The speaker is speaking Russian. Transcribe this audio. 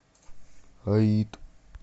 аид